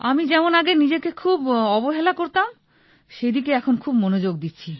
আমি যেমন আগে নিজেকে খুব অবহেলা করতাম সেদিকে এখন খুব মনোযোগ দিচ্ছি